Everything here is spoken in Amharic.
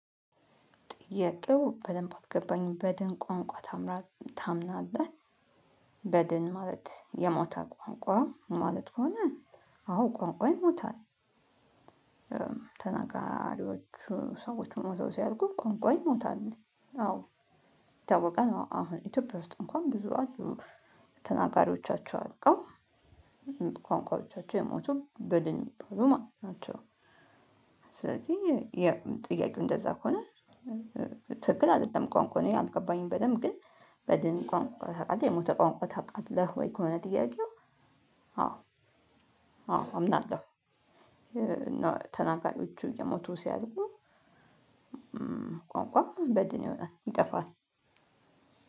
ጥያቄው በደንብ አልገባኝም በድን ቋንቋ ታምናለህ በድን ማለት የሞተ ቋንቋ ማለት ከሆነ አዎ ቋንቋ ይሞታል። ተናጋሪዎች ሰዎች ሞተው ሲያልቁ ቋንቋ ይሞታል። አዎ። ይታወቃል አሁን ኢትዮጵያ ውስጥ እንኳን ብዙ አፍ ነው ተናጋሪዎቻቸው አልቀው ቋንቋዎቻቸው የሞቱ ብልን ናቸው። ስለዚህ የጥያቄው እንደዛ ከሆነ። ትክክል አይደለም ቋንቋው እኔ አልገባኝም በደንብ ግን በድን ቋንቋ ታውቃለህ የሞተ ቋንቋ ታውቃለህ ወይ? ከሆነ ጥያቄው። አዎ አዎ አምናለሁ። ተናጋሪቹ እየሞቱ ሲያድጉ። ቋንቋ በድን ይሆናል ይጠፋል።